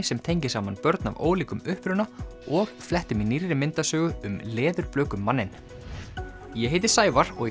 sem tengir saman börn af ólíkum uppruna og flettum í nýrri myndasögu um Leðurblökumanninn ég heiti Sævar og